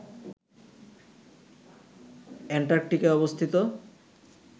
অ্যান্টার্কটিকায় অবস্থিত